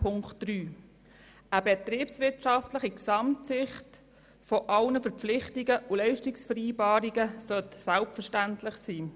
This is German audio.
Eine betriebswirtschaftliche Gesamtsicht aller Verpflichtungen und Leistungsvereinbarungen sollte selbstverständlich sein.